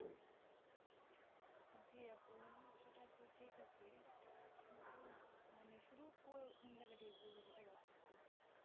জি আপু সেটা তো ঠিক আছে কিন্তু মানে শুরু কো~কোন জায়গা থেকে করবো সেটা ভাবতেছি।